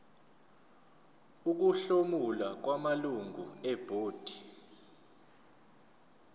ukuhlomula kwamalungu ebhodi